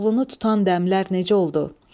Koroğlunu tutan dəmlər necə oldu?